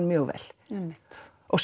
mjög vel einmitt og